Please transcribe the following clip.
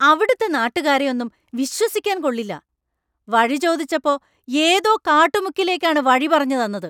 അവിടുത്തെ നാട്ടുകാരെ ഒന്നും വിശ്വസിക്കാൻ കൊള്ളില്ല; വഴി ചോദിച്ചപ്പോ ഏതോ കാട്ടുമുക്കിലേക്കാണ് വഴി പറഞ്ഞ് തന്നത്.